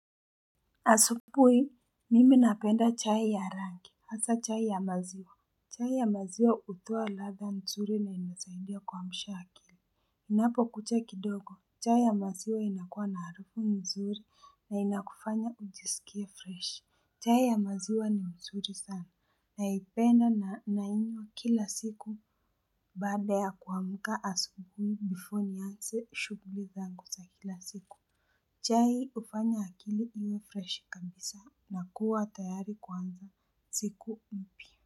Asubui, mimi napenda chai ya rangi, hasa chai ya maziwa. Chai ya maziwa hutoa ladha nzuri na inasaidia kuamsha akili. Inapokucha kidogo, chai ya maziwa inakuwa na harufu nzuri na inakufanya ujisikie fresh. Chai ya maziwa ni nzuri sana naipenda na nainywa kila siku baada ya kuamka asubui before nianze shughuli zangu za kila siku. Chai hufanya akili iwe fresh kabisa na kuwa tayari kuanza siku mpya.